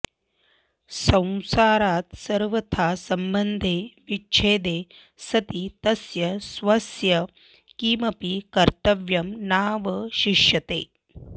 संसारात् सर्वथा सम्बन्धे विच्छेदे सति तस्य स्वस्य किमपि कर्तव्यं नावशिष्यते